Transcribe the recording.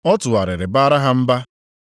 Ọ tụgharịrị bara ha mba.